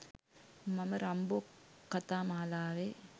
මම රම්බෝ කතා මාලාවේ